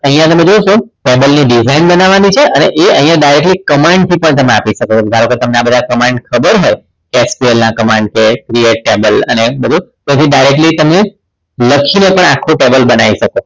અહીંયા તમે જોશો table ની design બનાવવાની છે અને direct command થી પણ તમે આપી શકો છો ધારો કે તમને આ બધા command ખબર હોય SQL ના command કે vs cable અને એ બધું પછી directly તમે લખીને પણ આખું table બનાવી શકો છો